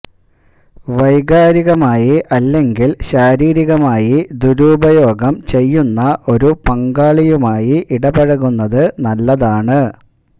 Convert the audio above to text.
വൈകാരികമായി അല്ലെങ്കിൽ ശാരീരികമായി ദുരുപയോഗം ചെയ്യുന്ന ഒരു പങ്കാളിയുമായി ഇടപഴകുന്നത് നല്ലതാണ്